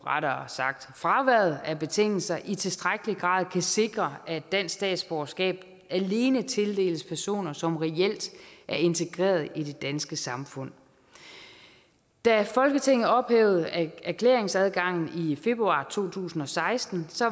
rettere sagt fraværet af betingelser i tilstrækkelig grad kan sikre at dansk statsborgerskab alene tildeles personer som reelt er integreret i det danske samfund da folketinget ophævede erklæringsadgangen i februar to tusind og seksten